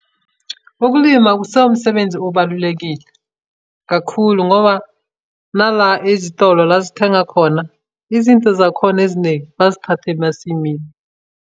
Ukulima kusewumsebenzi obalulekile kakhulu, ngoba nala ezitolo la sithenga khona izinto zakhona eziningi bazithathe emasimini.